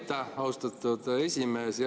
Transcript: Aitäh, austatud esimees!